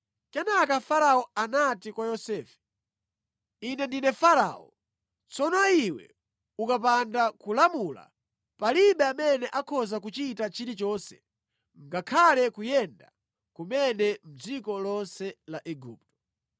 Kenaka Farao anati kwa Yosefe, “Ine ndine Farao; tsono iwe ukapanda kulamula, palibe amene akhoza kuchita chilichonse ngakhale kuyenda kumene mʼdziko lonse la Igupto.”